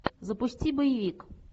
запусти боевик